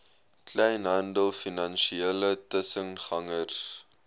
kleinhandel finansiële tussengangers